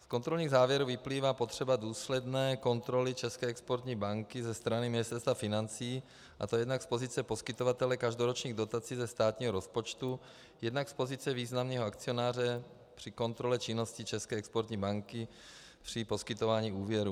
Z kontrolních závěrů vyplývá potřeba důsledné kontroly České exportní banky ze strany Ministerstva financí, a to jednak z pozice poskytovatele každoročních dotací ze státního rozpočtu, jednak z pozice významného akcionáře při kontrole činnosti České exportní banky při poskytování úvěrů.